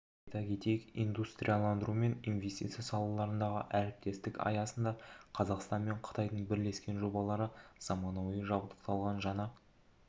айта кетейік индустрияландыру мен инвестиция салаларындағы әріптестік аясында қазақстан мен қытайдың бірлескен жобалары заманауи жабдықталған жаңа